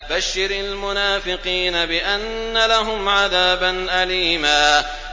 بَشِّرِ الْمُنَافِقِينَ بِأَنَّ لَهُمْ عَذَابًا أَلِيمًا